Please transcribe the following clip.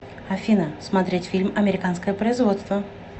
афина смотреть фильм американское производство